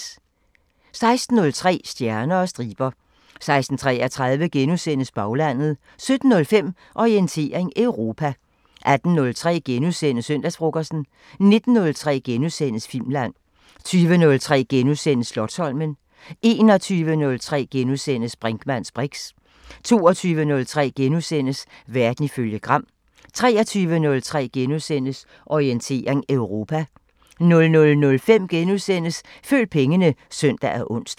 16:03: Stjerner og striber 16:33: Baglandet * 17:05: Orientering Europa 18:03: Søndagsfrokosten * 19:03: Filmland * 20:03: Slotsholmen * 21:03: Brinkmanns briks * 22:03: Verden ifølge Gram * 23:03: Orientering Europa * 00:05: Følg pengene *(søn og ons)